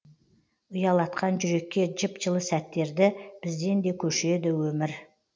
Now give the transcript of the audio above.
ұялатқан жүрекке жып жылы сәттерді бізден де көшеді өмір